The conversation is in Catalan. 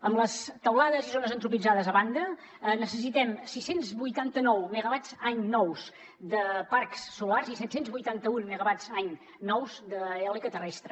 amb les teulades i zones antropitzades a banda necessitem sis cents i vuitanta nou megawatts any nous de parcs solars i set cents i vuitanta un megawatts any nous d’eòlica terrestre